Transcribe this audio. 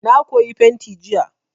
Na koyi fenti jiya.